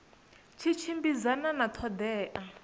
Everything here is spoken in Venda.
tshi tshimbidzana na ṱho ḓea